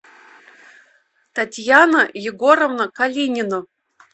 татьяна егоровна калинина